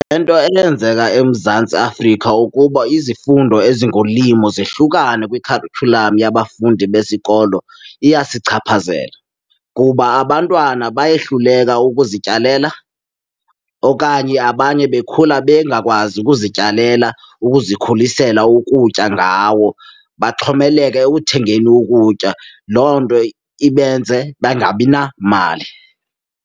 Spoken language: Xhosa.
Le nto eyenzeka eMzantsi Afrika ukuba izifundo ezingolimo zahlukane kwikharityhulam yabafundi besikolo iyasichaphazela kuba abantwana bayohluleka ukuzityalela okanye abanye bekhula bengakwazi ukuzityalela, ukuzikhulisela ukutya ngawo baxhomekeke ekuthengeni ukutya. Loo nto ibenze bangabi namali.